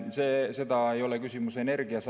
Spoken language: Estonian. Küsimus ei ole ainult energias.